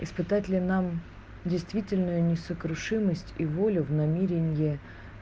испытать ли нам действительную несокрушимость и волю в намеренье